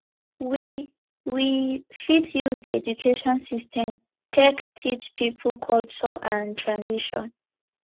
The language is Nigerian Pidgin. we we fit use di education system take teach pipo culture and tradition